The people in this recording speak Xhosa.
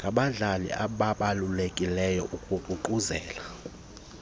ngabadlali ababalulekileyo ukuququzelela